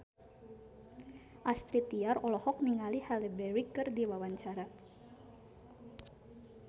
Astrid Tiar olohok ningali Halle Berry keur diwawancara